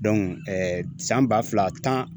san ba fila tan